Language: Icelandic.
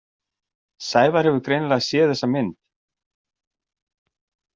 Sævar hefur greinilega séð þessa mynd.